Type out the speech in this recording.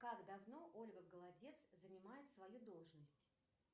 как давно ольга голодец занимает свою должность